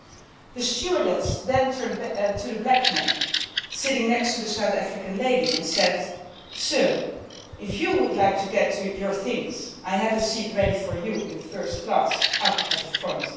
She then turned to the black man sitting next to the South African lady and said, Sir, if you would like to get your things, I have a seat ready for you in first class up at the